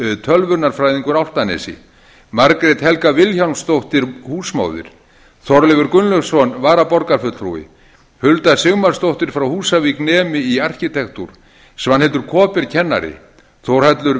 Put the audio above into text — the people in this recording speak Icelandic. tölvunarfræðingur álftanesi margrét helga vilhjálmsdóttir húsmóðir þorleifur gunnlaugsson varaborgarfulltrúi hulda sigmarsdóttir frá húsavík nemi í arkitektúr svanhildur kaaber kennari þórhallur